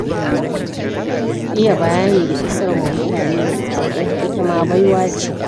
Iya bayani da isarwa mutane da saƙo itama baiwa ce.